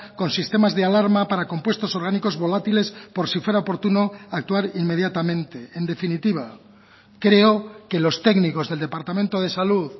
con sistemas de alarma para compuestos orgánicos volátiles por si fuera oportuno actuar inmediatamente en definitiva creo que los técnicos del departamento de salud